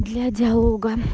для диалога